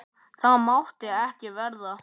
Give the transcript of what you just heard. Það mátti ekki verða.